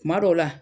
Kuma dɔw la